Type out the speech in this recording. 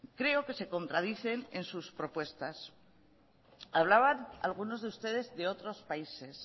creo que se contradicen en sus propuestas hablaban algunos de ustedes de otros países